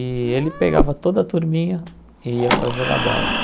E ele pegava toda a turminha e ia para jogar bola.